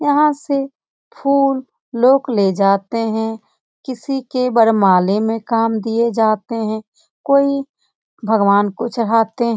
यहां से फूल लोक ले जाते है किसी के वरमाले में काम दिए जाते है कोई भगवान को चढ़ाते --